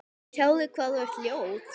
Sjáðu hvað þú ert ljót.